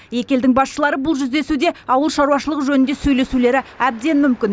екі елдің басшылары бұл жүздесуде ауыл шаруашылығы жөнінде сөйлесулері әбден мүмкін